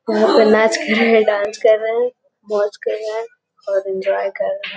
यहां पर नाच कर रहे हैं। डांस कर रहे हैं। मौज कर रहा है और एंजॉय कर रहा --